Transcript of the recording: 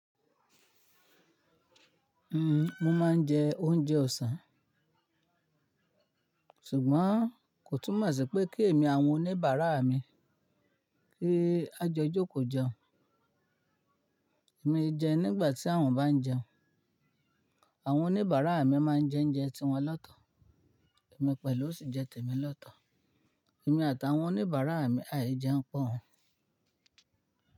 Mo máa ń jẹ oúnjẹ ọ̀sán, ṣùgbọ́n kò túmọ̀ sí pé kí èmi àti àwọn oníbàrà mi pé kájọ jókò jẹun. Èmi ẹ jẹun nígbà tí àwọn bá ń jẹun. Àwọn oníbàárà mi máa ń jẹ oúnjẹ tiwọn lọ́tọ̀, èmi pẹ̀lú sì jẹ tèmi lọ́tọ̀. Èmi àtàwọn oníbàárà mi áì jẹun pọ̀.